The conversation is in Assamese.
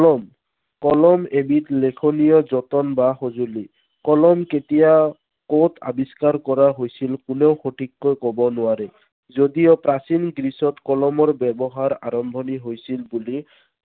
কলম লিখনীয় যতন বা সঁজুলি। কলম কেতিয়া কত আৱিস্কাৰ কৰা হৈছিল কোনেও সঠিককৈ কব নোৱাৰে। যদিও প্ৰাচীন গ্ৰীচত কলমৰ ব্য়ৱহাৰৰ আৰম্ভণি হৈছিল বুলি